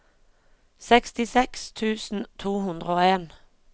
sekstiseks tusen to hundre og en